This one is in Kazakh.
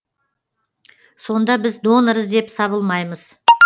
сонда біз донор іздеп сабылмаймыз